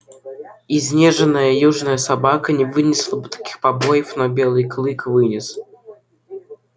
изнеженная южная собака не вынесла бы таких побоев но белый клык вынес